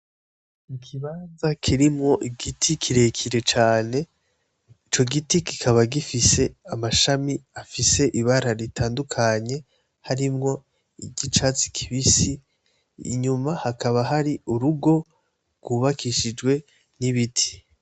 Ikibanza kirimwo igiti kirekire cane, ico giti kikaba gifise amashami afise ibara ritandukanye harimwo iry'icatsi kibisi, inyuma hakaba hari urugo rwubakishijwe n'ibiti.